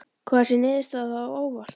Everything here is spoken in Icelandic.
Kom þessi niðurstaða á óvart?